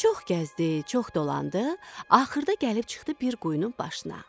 Çox gəzdi, çox dolandı, axırda gəlib çıxdı bir quyunun başına.